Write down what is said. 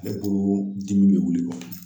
Ale ko dimi bɛ wuli